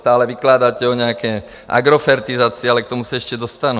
Neustále vykládáte o nějaké agrofertizaci, ale k tomu se ještě dostanu.